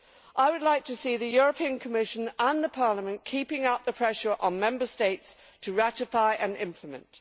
I would like to see the Commission and Parliament keeping up the pressure on Member States to ratify and implement.